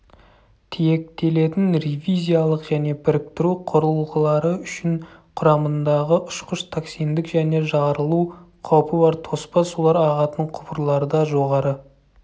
тиектелетін ревизиялық және біріктіру құрылғылары үшін құрамындағы ұшқыш токсиндік және жарылу қаупі бар тоспа сулар ағатын құбырларда жоғары